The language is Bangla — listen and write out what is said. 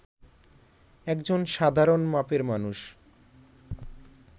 একজন সাধারণ মাপের মানুষ